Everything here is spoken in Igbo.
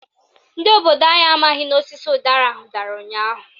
Ndị obodo anyị amaghị n'osisi ụdara ahụ dara ụnyaahụ.